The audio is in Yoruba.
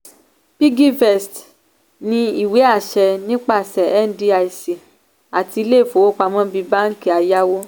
piggyvest ní ìwé àṣẹ nípasẹ̀ ndic àti ilé ìfowópamọ́ bíi banki ayáwó.